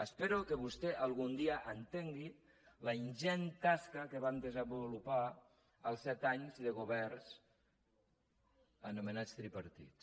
espero que vostè algun dia entengui la ingent tasca que van desenvolupar els set anys de governs anomenats tripartits